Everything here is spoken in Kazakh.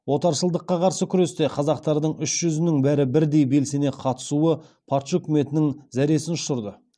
отаршылдыққа қарсы күресте қазақтардың үш жүзінің бәрі бірдей белсене қатысуы патша үкіметінің зәресін ұшырды